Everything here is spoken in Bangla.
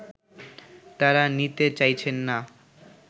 তারা নিতে চাইছেন না